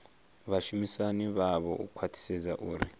vhashumisani navho u khwathisedza uri